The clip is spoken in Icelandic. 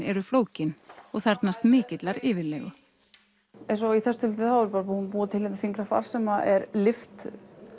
eru flókin og þarfnast mikillar yfirlegu eins og í þessu tilviki þá er ég að búa til hérna fingrafar sem er lyft